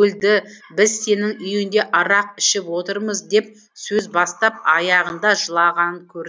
өлді біз сенің үйіңде арақ ішіп отырмыз деп сөз бастап аяғында жылағанын көрдім